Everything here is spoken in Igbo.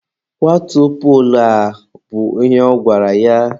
Kwatuo poolu a! bụ ihe ọ gwara ya.